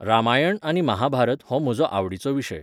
रामायण आनी महाभारत हो म्हजो आवडीचो विशय.